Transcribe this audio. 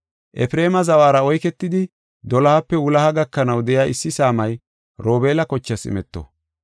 Efreema zawara oyketidi, dolohape wuloha gakanaw de7iya issi saamay Robeela kochaas imeto.